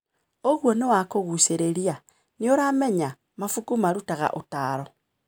ũguo nĩ wa kũgucĩrĩria. Nĩ ũramenya, mabuku marutaga ũtaaro.